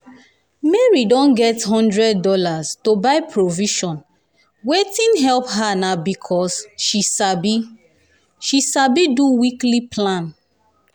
mary don um get one hundred dollarsto buy provision waitng help her na becasue um she sabi she sabi um do weekly plan.